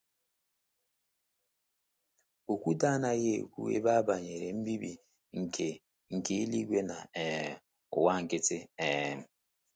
Okwute anaghị ekwu ebe a banyere mbibi nke nke eluigwe na um ụwa nkịtị. um